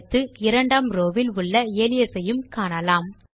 அடுத்து இரண்டாம் ரோவ் வில் உள்ள அலியாஸ் ஐ காணலாம்